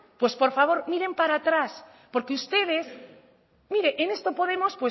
pues por favor miren para atrás porque ustedes mire en esto podemos